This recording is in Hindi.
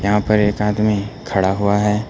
यहां पर एक आदमी खड़ा हुआ है।